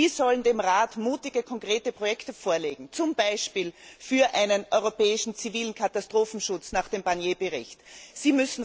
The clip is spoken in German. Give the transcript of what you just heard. Sie sollen dem Rat mutige, konkrete Projekte vorlegen, zum Beispiel für einen europäischen zivilen Katastrophenschutz nach dem Bericht Barnier.